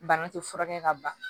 Bana tɛ furakɛ ka ban